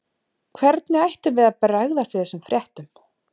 Hvernig ættum við að bregðast við þessum fréttum?